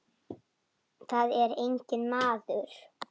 Þar er enginn maður.